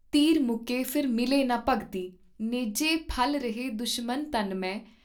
ਤੀਰ ਮੁਕੇ ਫਿਰ ਮਿਲੇ ਨਾ ਭਗਤੀ ॥ ਨੇਜੇ ਫ਼ਲਰਹੇ ਦੁਸ਼ਮਨ ਤਨ ਮੇਂ।